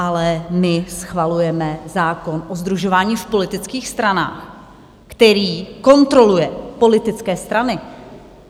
Ale my schvalujeme zákon o sdružování v politických stranách, který kontroluje politické strany.